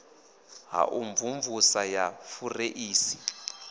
ha u mvumvusa ya fureisi